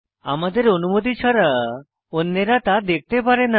আমাদের অনুমতি ছাড়া অন্যেরা তা দেখতে পারে না